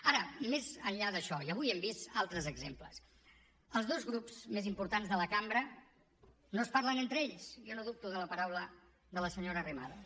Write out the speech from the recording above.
ara més enllà d’això i avui hem vist altres exemples els dos grups més importants de la cambra no es parlen entre ells jo no dubto de la paraula de la senyora arrimadas